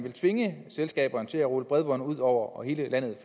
at tvinge selskaberne til at rulle bredbånd ud over hele landet